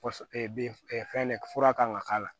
bin fɛn fura kan ka k'a la